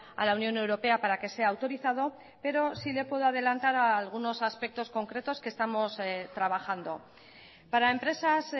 a la unión europea para que sea autorizado pero sí le puedo adelantar algunos aspectos concretos que estamos trabajando para empresas